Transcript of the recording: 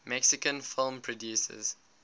mexican film producers